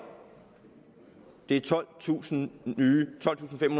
det er tolvtusinde